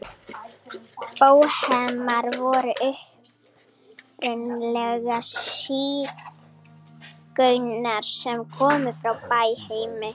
Bóhemar voru upprunalega sígaunar sem komu frá Bæheimi.